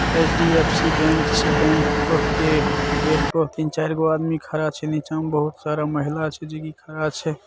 HDFC bank छै bank के gate पर तीन-चार गो आदमी खड़ा छै और नीचा मे बहुत सारा महिला छै जे खडा छै।